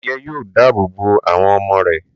adìyẹ yóò dáàbò bo àwọn ọmọ rẹ̀